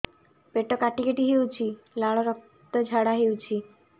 ପେଟ କାଟି କାଟି ହେଉଛି ଲାଳ ରକ୍ତ ଝାଡା ହେଉଛି